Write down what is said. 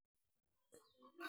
Nee kabarunoikab Syndactyly 3?